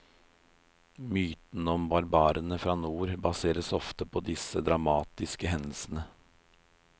Myten om barbarene fra nord baseres ofte på disse dramatiske hendelsene.